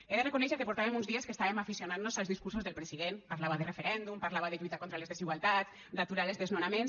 he de reconèixer que portàvem uns dies que estàvem aficionant nos als discursos del president parlava de referèndum parlava de lluita contra les desigualtats d’aturar els desnonaments